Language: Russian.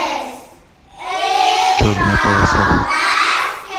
черная полоса